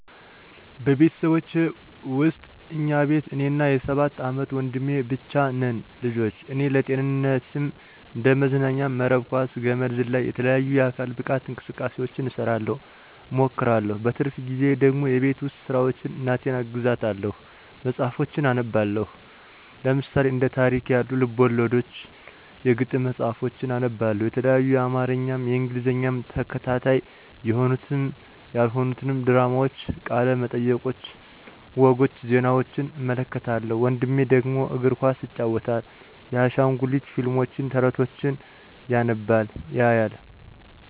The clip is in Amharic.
በቤተሰቦቼ ውስጥ እኛ ቤት እኔና የ ሰባት አመት ወንድሜ ብቻ ነን ልጆች ... እኔ ለጤንነትም እንደ መዝናኛም መረብ ኳስ፣ ገመድ ዝላይ፣ የተለያዩ የአካል ብቃት እንቅስቃሴውችን እሰራለሁ እሞክራለሁ። በትርፍ ጊዜየ ደግሞ የቤት ውስጥ ስራውችን እናቴን አግዛታለሁኝ። መፅሀፎችን አነባለሁኝ ለምሳሌ፦ እንደ ታሪክ ያሉ፦ ልብወለዶችን፥ የግጥም መፅሀፎችን አነባለሁ የተለያዪ የአማርኛም የእንግሊዘኛም ተከታታይ የሆኑትንም ያልሆኑትንም ድራማውችን፦ ቃለ መጠየቆችን፦ ወጎች፦ ዜናውችን እመለከታለሁኝ። ወንድሜ ደግሞ፦ እግር ኳስ ይጫወታል። የአሻንጉሊት ፊልሞችን፣ ተረቶችን ያነባል ያያል።